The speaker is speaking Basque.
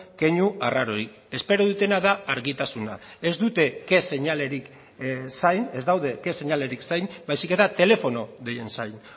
keinu arrarorik espero dutena da argitasuna ez daude ke seinalerik zain baizik eta telefono deien zain